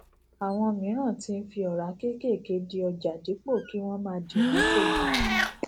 àwọn miran ti ń fi ora kéékèèké di ọjà dípò kí wọn máa di wọn tóbi